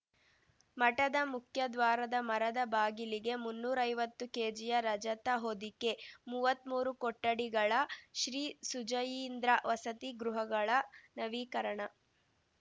ಮಠದ ಮುಖ್ಯದ್ವಾರದ ಮರದ ಬಾಗಿಲಿಗೆ ಮುನ್ನೂರೈವತ್ತು ಕೆಜಿಯ ರಜತ ಹೊದಿಕೆ ಮುವ್ವತ್ಮೂರು ಕೊಠಡಿಗಳ ಶ್ರೀಸುಜಯೀಂದ್ರ ವಸತಿ ಗೃಹಗಳ ನವೀಕರಣ